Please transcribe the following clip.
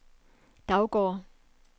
Daugård